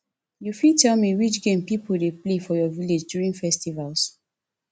you fit tell me which game people dey play for your village during festivals